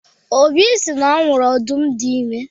Obi sị na ọ hụrụ ọdụm dị ime